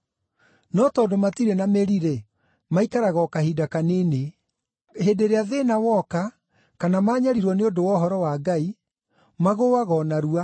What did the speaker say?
No tondũ matirĩ na mĩri-rĩ, maikaraga o kahinda kanini. Hĩndĩ ĩrĩa thĩĩna woka kana maanyariirwo nĩ ũndũ wa ũhoro wa Ngai, magũũaga o narua.